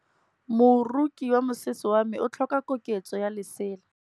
Moroki wa mosese wa me o tlhoka koketsô ya lesela.